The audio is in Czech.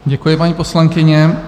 Děkuji, paní poslankyně.